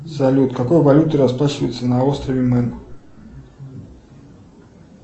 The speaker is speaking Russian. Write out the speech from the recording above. салют какой валютой расплачиваются на острове мэн